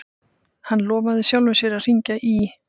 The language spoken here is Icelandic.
Hann lofaði sjálfum sér að hringja í